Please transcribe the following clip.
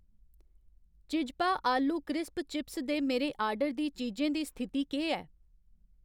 चिज्पा आलू crisp chips दे मेरे आर्डर दी चीजें दी स्थिति केह् ऐ